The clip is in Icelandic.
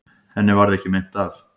Henni varð ekki meint af.